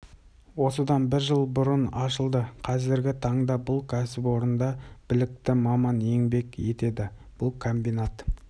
осыдан бір жыл бұрын ашылды қазіргі таңда бұл кәсіпорында білікті маман еңбек етеді бұл комбинат